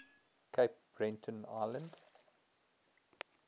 cape breton island